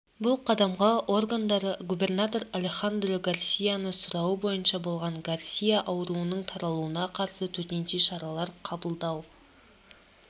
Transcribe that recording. бұл қадамға органдары губернатор алехандро гарсияның сұрауы бойынша барған гарсия аурудың таралуына қарсы төтенше шаралар қабылдау